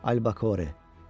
Albəkore.